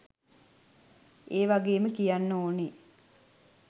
ඒවගේම කියන්න ඕන